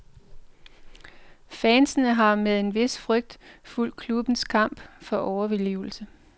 Fansene har med en vis frygt fulgt klubbens kamp for overlevelse.